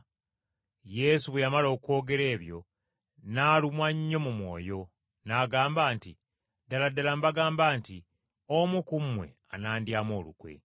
Yesu bwe yamala okwogera ebyo n’alumwa nnyo mu mwoyo, n’agamba nti, “Ddala ddala mbagamba, omu ku mmwe anandyamu olukwe.”